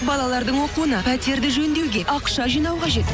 балалардың оқуына пәтерді жөндеуге ақша жинау қажет